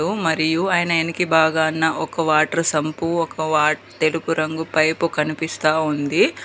మరియు ఆయన ఎనికి భాగాన ఒక వాటర్ సంపూ ఒక వా తెలుపు రంగు పైపు కనిపిస్తా ఉంది.